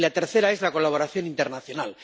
Y la tercera es la colaboración internacional.